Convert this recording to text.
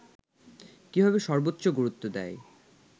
কীভাবে সর্বোচ্চ গুরুত্ব দেয়